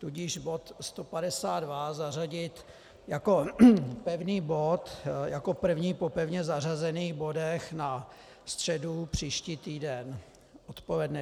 Tudíž bod 152 zařadit jako pevný bod, jako první po pevně zařazených bodech na středu příští týden odpoledne.